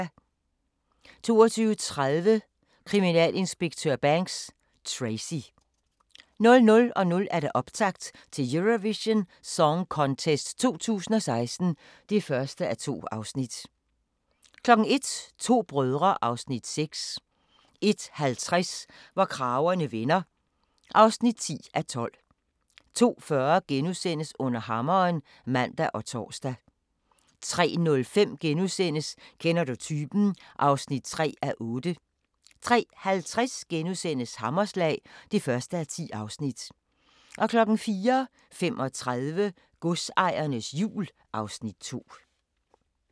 22:30: Kriminalinspektør Banks: Tracy 00:00: Optakt til Eurovision Song Contest 2016 (1:2) 01:00: To brødre (Afs. 6) 01:50: Hvor kragerne vender (10:12) 02:40: Under hammeren *(man og tor) 03:05: Kender du typen? (3:8)* 03:50: Hammerslag (1:10)* 04:35: Godsejernes jul (Afs. 2)